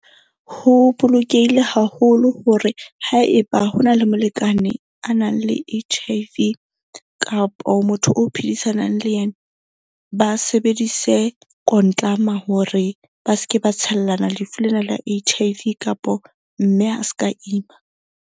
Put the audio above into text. Ho bolokehile haholo hore haeba hona le molekane a nang le H_I_V kapo motho o phedisanang le yena, ba sebedise hore ba se ke ba tshellana lefu lena la H_I_V kapo mme a ska ima.